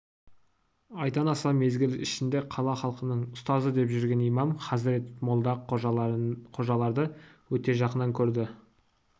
айдан аса мезгіл ішінде қала халқының ұстазы деп жүрген имам хазірет молда-қожаларды өте жақыннан көрді